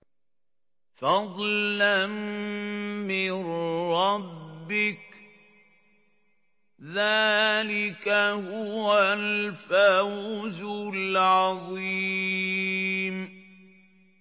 فَضْلًا مِّن رَّبِّكَ ۚ ذَٰلِكَ هُوَ الْفَوْزُ الْعَظِيمُ